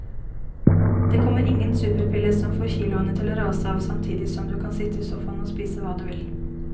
Det kommer ingen superpille som får kiloene til å rase av samtidig som du kan sitte i sofaen og spise hva du vil.